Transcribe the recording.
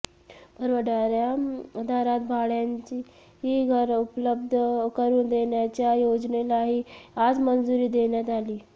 परवडणाऱ्या दरात भाड्याची घरं उपलब्ध करुन देण्याच्या योजनेलाही आज मंजुरी देण्यात आली